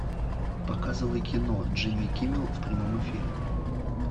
показывай кино джимми киммел в прямом эфире